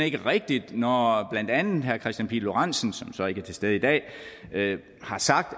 ikke rigtigt når blandt andet herre kristian pihl lorentzen som så ikke er til stede i dag har sagt